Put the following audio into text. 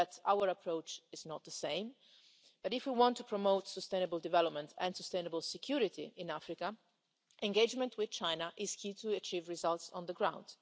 Our approach is not the same, but if we want to promote sustainable development and sustainable security in Africa, engagement with China is key to achieving results on the ground.